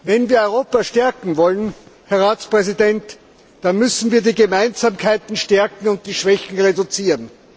Wenn wir Europa stärken wollen, Herr Ratspräsident, dann müssen wir die Gemeinsamkeiten stärken und die Schwächen reduzieren.